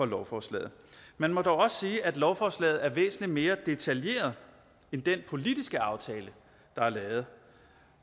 lovforslaget man må dog også sige at lovforslaget er væsentlig mere detaljeret end den politiske aftale der er lavet